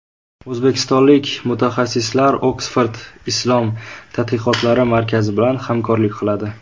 O‘zbekistonlik mutaxassislar Oksford islom tadqiqotlari markazi bilan hamkorlik qiladi.